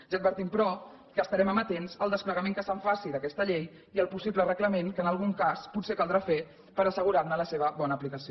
ja advertim però que estarem amatents al desplegament que es faci d’aquesta llei i al possible reglament que en algun cas potser caldrà fer per assegurar ne la bona aplicació